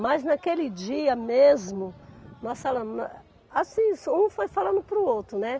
Mas naquele dia mesmo, nós falamos, na, assim, um foi falando para o outro, né?